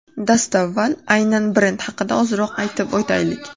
Dastavval aynan brend haqida ozroq aytib o‘taylik.